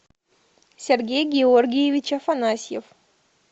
сергей георгиевич афанасьев